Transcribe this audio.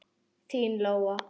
Þín Lóa.